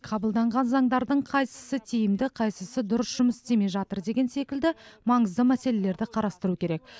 қабылданған заңдардың қайсысы тиімді қайсысы дұрыс жұмыс істемей жатыр деген секілді маңызды мәселелерді қарастыру керек